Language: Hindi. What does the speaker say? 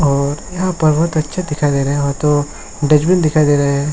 और यहां पर बोहोत अच्छा दिखाई दे रहे हो तो डस्टबिन दिखाई दे रहे है।